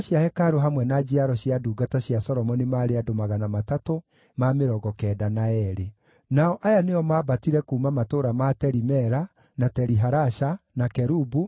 Nake barũthi wa kũu akĩmaatha matikarĩe irio iria therie mũno, o nginya gũkaagĩa mũthĩnjĩri-Ngai ũratungata na Urimu na Thumimu.